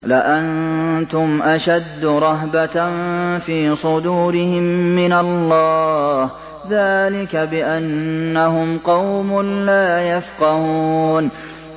لَأَنتُمْ أَشَدُّ رَهْبَةً فِي صُدُورِهِم مِّنَ اللَّهِ ۚ ذَٰلِكَ بِأَنَّهُمْ قَوْمٌ لَّا يَفْقَهُونَ